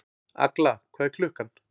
Agla, hvað er klukkan?